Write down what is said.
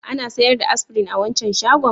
Ana sayar da Aspirin a wancan shagon?